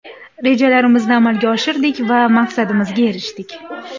Rejalarimizni amalga oshirdik va maqsadimizga erishdik.